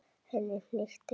Henni hnykkti við.